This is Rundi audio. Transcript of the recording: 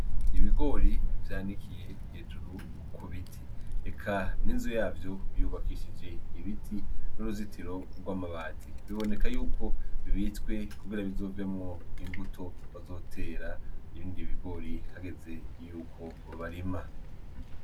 Ibigori vyanikiye hejuru ku biti. Eka n'inzu yavyo yubakishije ibiti, n'uruzitiro rw'amabati. Biboneka yuko bibitswe kugira bizovemwo imbuto bazotera ibindi bigori hageze yuko barima.